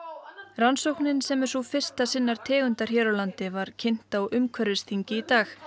rannsóknin sem er sú fyrsta sinnar tegundar hér á landi var kynnt á umhverfisþingi í dag